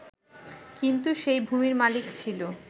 কিন্তু সেই ভূমির মালিক ছিল